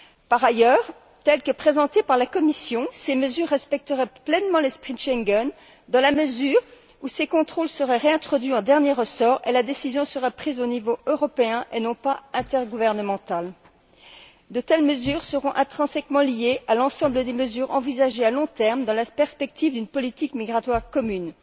Par ailleurs, ces mesures, telles que présentées par la Commission, respecteraient pleinement l'esprit de Schengen dans la mesure où ces contrôles seraient réintroduits en dernier ressort et la décision serait prise au niveau européen et non pas intergouvernemental. De telles mesures seront intrinsèquement liées à l'ensemble des mesures envisagées à long terme dans la perspective d'une politique migratoire commune.